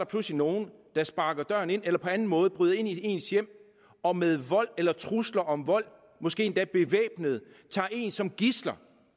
pludselig nogle der sparker døren ind eller på anden måde bryder ind i ens hjem og med vold eller trusler om vold måske endda bevæbnede tager en som gidsel